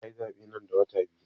Za ayi zaɓe nan da wata biyu